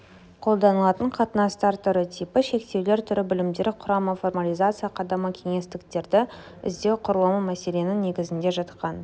қолданылатын қатынастар түрі типы шектеулер түрі білімдер құрамы формализация қадамы кеңістіктерді іздеу құрылымы мәселенің негізінде жатқан